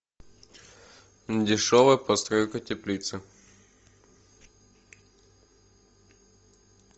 дешевая постройка теплицы